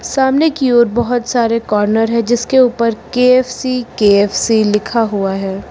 सामने की ओर बहुत सारे कॉर्नर है जिसके ऊपर के_एफ_सी के_एफ_सी लिखा हुआ है।